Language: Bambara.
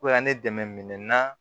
ne dɛmɛ na